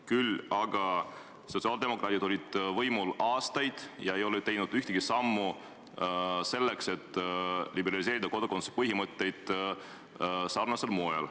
Küll aga sotsiaaldemokraadid olid võimul aastaid ega ole teinud ühtegi sammu selleks, et liberaliseerida kodakondsuse põhimõtteid sarnasel moel.